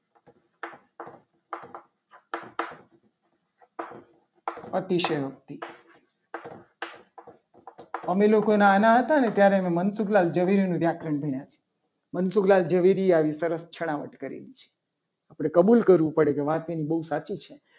અતિશયોક્તિ અમે લોકો નાના હતા. ને ત્યારે મનસુખલાં જરૂરી વ્યાકરણ ભણ્યા છે. મનસુખલાલ ઝવેરીએ આવી સરસ છણાવટ કરેલી છે આપણે કબૂલ કરવું. પડે કે વાત એની બહુ સાચી છે.